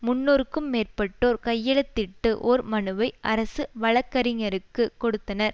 முன்னூறுக்கு மேற்பட்டோர் கையெழுத்திட்டு ஓர் மனுவை அரசு வழக்கறிஞருக்கு கொடுத்தனர்